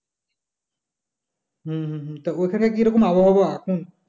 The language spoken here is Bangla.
হম তো ঐখানে কি রকম আবহাওয়া